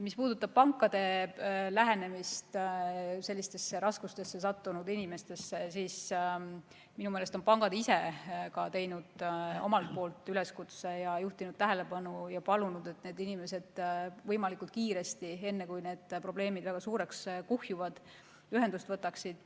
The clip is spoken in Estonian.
Mis puudutab pankade lähenemist sellistesse raskustesse sattunud inimestele, siis minu meelest on ka pangad ise teinud üleskutse, juhtinud tähelepanu ja palunud, et need inimesed võimalikult kiiresti, enne kui nende probleemid väga suureks kuhjuvad, pangaga ühendust võtaksid.